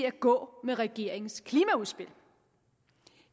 at gå med regeringens klimaudspil